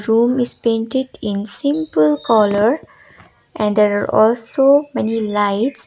room is painted in simple colour and there're also many lights.